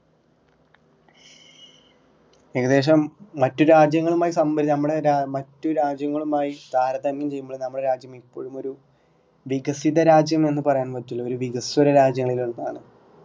ഏകദേശം മറ്റു രാജ്യങ്ങളുമായി സംബറി ഏർ നമ്മടെ മറ്റുരാജ്യങ്ങളുമായി താരതമ്യം ചെയ്യുമ്പോൾ നമ്മുടെ രാജ്യം എപ്പോഴുമൊരു വികസിതരാജ്യം എന്ന് പറയാൻ പറ്റില്ല വികസ്വര രാജ്യങ്ങളിലൊന്നാണ്